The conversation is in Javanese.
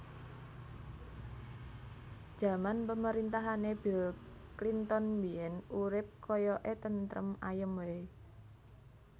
Jaman pemerintahane Bill Clinton biyen urip koyok e tentrem ayem wae